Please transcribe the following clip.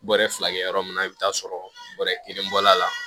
Bɔrɛ fila kɛ yɔrɔ min na i bi t'a sɔrɔ bɔrɛ kelen bɔl'a la